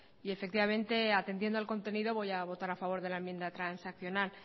y efectivamente atendiendo al contenido voy a votar a favor de la enmienda de transaccional